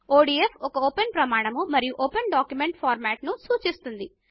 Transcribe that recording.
ODF ఒక open ప్రమాణం మరియు ఓపెన్ డాక్యుమెంట్ ఫార్మాట్ను సూచిస్తుంది